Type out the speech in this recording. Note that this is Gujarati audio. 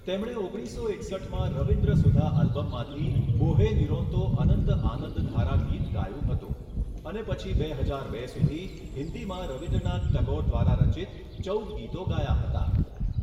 તેમણે ઓગણીસો એકસઠમાં રવિન્દ્ર સુધા આલ્બમમાંથી 'બોહે નિરોંતો અનંત આનંદધારા' ગીત ગાયું હતું અને પછી બે હજાર બે સુધી હિન્દીમાં રવિન્દ્રનાથ ટાગોર દ્વારા રચિત ચૌદ ગીતો ગાયાં હતાં.